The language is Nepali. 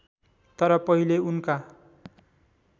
तर पहिले उनका